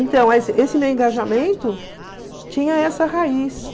Então, esse esse meu engajamento tinha essa raiz.